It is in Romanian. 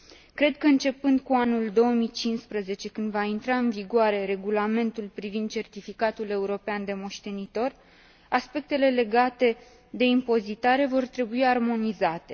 Cred că, începând cu anul 2015, când va intra în vigoare Regulamentul privind certificatul european de moștenitor, aspectele legate de impozitare vor trebui armonizate.